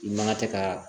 I man ka tɛ ka